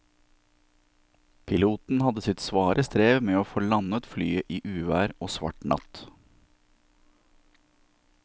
Piloten hadde sitt svare strev med å få landet flyet i uvær og svart natt.